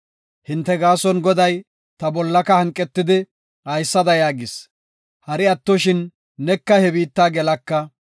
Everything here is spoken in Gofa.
Hinte gaason Goday ta bollaka hanqetidi, haysada yaagis; “Hari attoshin, neka he biitta gelaka.